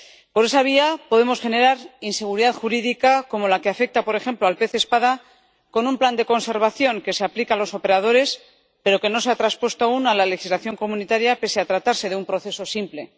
Por esa vía podemos generar inseguridad jurídica como la que afecta, por ejemplo, al pez espada, con un plan de conservación que se aplica a los operadores, pero que no se ha traspuesto aún a la legislación comunitaria pese a tratarse de un proceso simple.